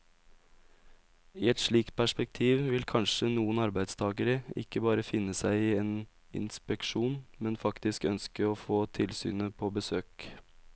I et slikt perspektiv vil kanskje noen arbeidstagere ikke bare finne seg i en inspeksjon, men faktisk ønske å få tilsynet på besøk.